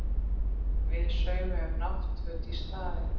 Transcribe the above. Við saumum náttföt í staðinn